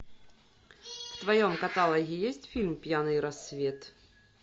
в твоем каталоге есть фильм пьяный рассвет